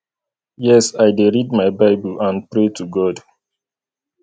yes i dey read my bible and pray to god